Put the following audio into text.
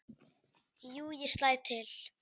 Jú, ég slæ til